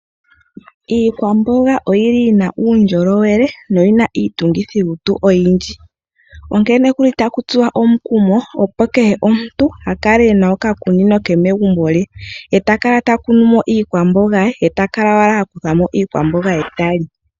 Iikwamboga oyi na uundjolowele noyi na iitungithilutu oyindji, onkene kehe omuntu ota tsuwa omukumo, opo a kale e na okakunino ke megumbo lye, ta kala ha kunu mo iikwamboga ye nokukutha mo iikwamboga ye ta li.